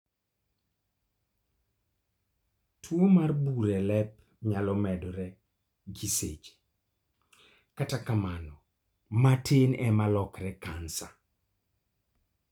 Tuo mar bur e lep nyalo medore gi seche ,kata kamano, matin ema lokore kansa